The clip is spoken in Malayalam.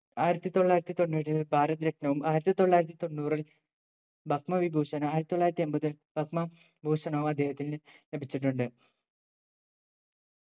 ആയിരത്തി തൊള്ളായിരത്തി തൊണ്ണൂറ്റി ഏഴ് ഭാരത രത്‌നവും ആയിരത്തി തൊള്ളായിരത്തി തൊണ്ണൂറിൽ പത്മ വിഭൂഷനും ആയിരത്തി തൊള്ളായിരത്തി എമ്പതിൽ പത്മ ഭൂഷണും അദ്ദേഹത്തിന് ലഭിച്ചിട്ടുണ്ട്